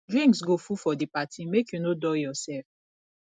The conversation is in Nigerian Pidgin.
drinks go full for di party make you no dull yoursef